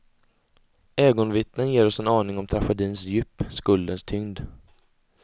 Ögonvittnen ger oss en aning om tragedins djup, skuldens tyngd.